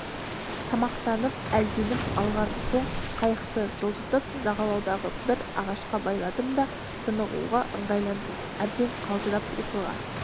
тамақтанып әлденіп алған соң қайықты жылжытып жағалаудағы бір ағашқа байладым да тынығуға ыңғайландым әбден қалжырап ұйқыға